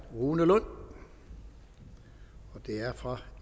rune lund fra